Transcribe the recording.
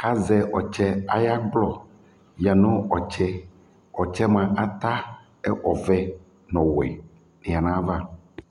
kʋ azɛ ɔtsɛ ayʋ ɛkplɔ yǝ nʋ ɔtsɛ Ɔtsɛ yɛ mʋa, ata ɛkʋ ɔvɛ nʋ ɔwɛ yǝ nʋ ayava